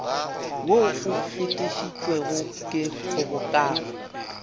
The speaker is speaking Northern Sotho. wo o fetišitšwego ke kgobokano